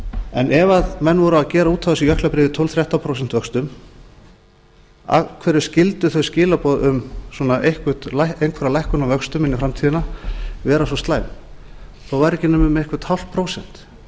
en ef menn voru að gera út á þessi jöklabréf í tólf til þrettán prósent vöxtum af hverju skyldu þau skilaboð um einhverja lækkun á vöxtum inn í framtíðina vera svo slæm þó væri ekki nema um eitthvert hálft prósent